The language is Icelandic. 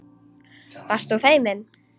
Varst þú feimin?